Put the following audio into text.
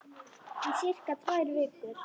Í sirka tvær vikur.